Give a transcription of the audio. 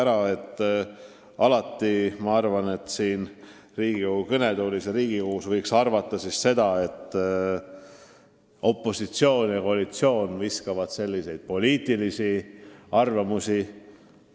Vahest võidakse arvata, et siin Riigikogu kõnetoolis ja üldse Riigikogus viskavad opositsioon ja koalitsioon niisama selliseid poliitilisi arvamusi õhku.